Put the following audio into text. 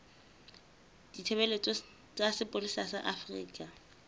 ditshebeletso tsa sepolesa sa afrika